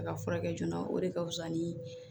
A ka furakɛ joona o de ka fusa nii